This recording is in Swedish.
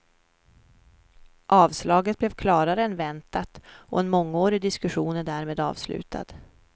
Avslaget blev klarare än väntat och en mångårig diskussion är därmed avslutad.